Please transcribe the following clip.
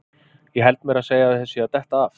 Ég held meira að segja að þeir séu að detta af!